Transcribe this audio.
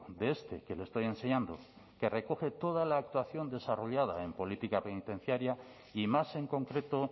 de este que le estoy enseñando que recoge toda la actuación desarrollada en política penitenciaria y más en concreto